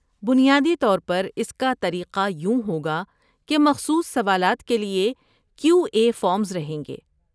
بنیادی طور پر اس کا طریقہ یوں ہوگا کہ مخصوص سوالات کے لیے کیو اے فارمس رہیں گے۔